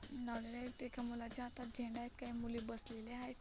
ना एका मुलाच्या हातात झेंडा आहेत. काही मुली बसलेल्या आहेत.